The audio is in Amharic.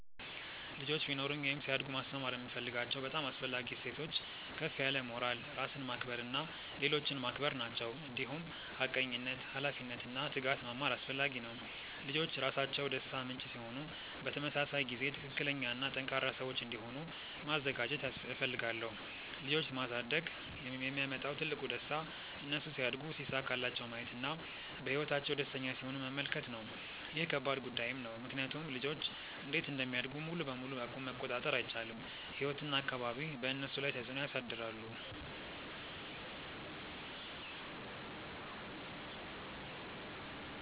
ልጆች ቢኖሩኝ ወይም ሲያድጉ ማስተማር የምፈልጋቸው በጣም አስፈላጊ እሴቶች ከፍ ያለ ሞራል፣ ራስን ማክበር እና ሌሎችን ማክበር ናቸው። እንዲሁም ሐቀኝነት፣ ኃላፊነት እና ትጋት መማር አስፈላጊ ነው። ልጆች ራሳቸው ደስታ ምንጭ ሲሆኑ በተመሳሳይ ጊዜ ትክክለኛ እና ጠንካራ ሰዎች እንዲሆኑ ማዘጋጀት እፈልጋለሁ። ልጆች ማሳደግ የሚያመጣው ትልቁ ደስታ እነሱ ሲያድጉ ሲሳካላቸው ማየት እና በህይወታቸው ደስተኛ ሲሆኑ መመልከት ነው። ይህ ከባድ ጉዳይም ነው ምክንያቱም ልጆች እንዴት እንደሚያድጉ ሙሉ በሙሉ መቆጣጠር አይቻልም፤ ህይወት እና አካባቢ በእነሱ ላይ ተፅዕኖ ያሳድራሉ።